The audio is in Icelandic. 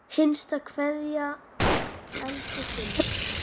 HINSTA KVEÐJA Elsku Simmi.